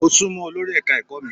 Mo sunmọ olórí ẹ̀ka mi.